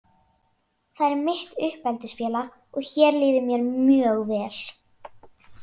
Það er mitt uppeldisfélag og hér líður mér mjög vel.